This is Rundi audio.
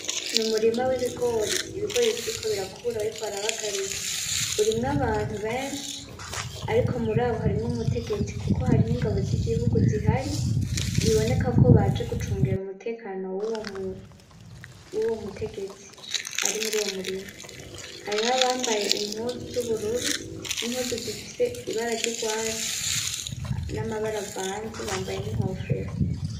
Ni umurima w'ibigori, ibigori bikiriko birakura bariko barabagarira, urimwo abantu benshi ariko murabo harimwo umutegetsi kuko hariho ingabo z'igihugu zihari bibonekako baje gucungera umutekano wuwo mutegetsi ari muruwo murima, hariho abambaye impuzu z'ubururu, n'impuzu zifise ibara rw'urwatsi n'amabara avanze, bambaye n'inkofero.